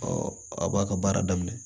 a b'a ka baara daminɛ